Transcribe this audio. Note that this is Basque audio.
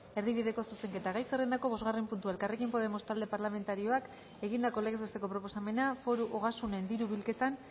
erdibideko zuzenketa gai zerrendako bosgarren puntua elkarrekin podemos talde parlamentarioak egindako legez besteko proposamena foru ogasunen diru bilketan